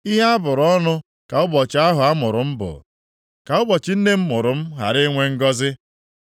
Ihe a bụrụ ọnụ ka ụbọchị ahụ a mụrụ m bụ. Ka ụbọchị nne m mụrụ m ghara inwe ngọzị.